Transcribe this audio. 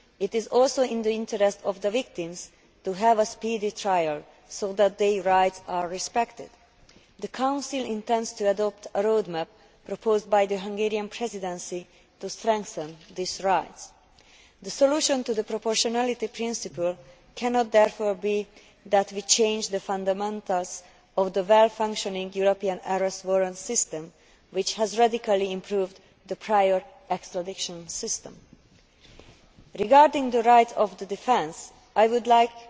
It is also in the interest of the victims to have a speedy trial so that their rights are respected. The Council intends to adopt a road map proposed by the Hungarian Presidency to strengthen these rights. The solution to the proportionality principle cannot therefore be that we change the fundamentals of the well functioning European Arrest Warrant system, which has radically improved the prior extradition system. Regarding the rights of the defence, I would